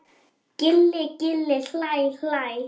Gilli gilli hlæ hlæ.